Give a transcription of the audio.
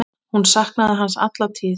Hún saknaði hans alla tíð.